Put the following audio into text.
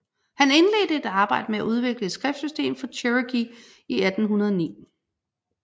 Han indledte et arbejde med at udvikle et skriftsystem for cherokee i 1809